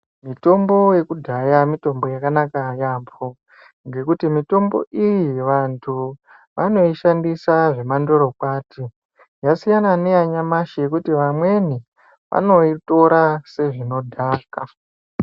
Mitombo yekudhaya mitombo yakanaka yambo ngekuti mitombo iyi vantu vanoshandisa zvemandoro kwaton zvasiyana neyanyamashi zvekuti vamweni vanoitora sezvinodhaka.